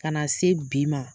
Ka na se bi ma